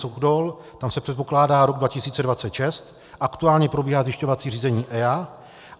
Suchdol, tam se předpokládá rok 2026, aktuálně probíhá zjišťovací řízení EIA.